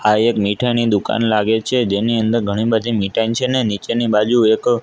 આ એક મીઠાઈની દુકાન લાગે છે જેની અંદર ઘણી બધી મીઠાઈ છે ને નીચેની બાજુ એક--